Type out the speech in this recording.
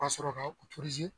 Ka sɔrɔ kaw pirize